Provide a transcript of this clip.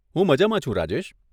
હું મજામાં છું, રાજેશ.